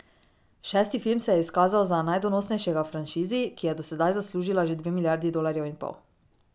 Šesti film se je izkazal za najdonosnejšega v franšizi, ki je do sedaj zaslužila že dve miljardi dolarjev in pol.